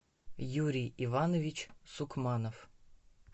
юрий иванович сукманов